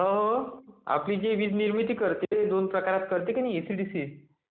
हो..आपली जी वीज निर्मिती करते ती दोन प्रकारात करते एसी आणि डीसी